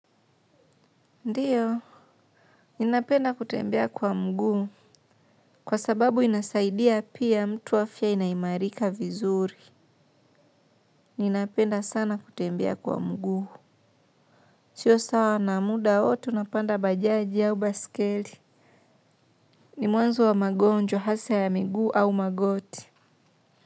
Ndiyo. Ninapenda kutembea kwa mguu. Kwa sababu inasaidia pia mtu afya inaimarika vizuri. Ninapenda sana kutembea kwa mguu. Sio sana, muda wote unapanda bajaji au baisikeli. Ni mwanzo wa magonjwa hasa ya miguu au magoti.